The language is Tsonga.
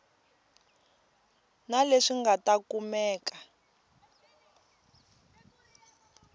na leswi nga ta kumeka